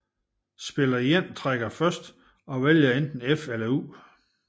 Spiller 1 trækker først og vælger enten F eller U